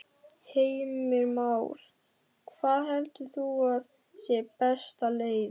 Heimir Már: Hvað heldur þú að sé besta leiðin?